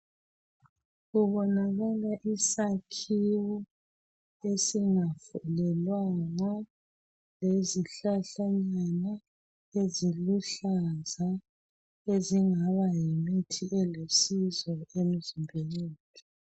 Kubonakala isakhiwo esingafulelwanga lezihlahlanyana eziluhlaza ezingaba yimithi elusizo emzimbeni yethu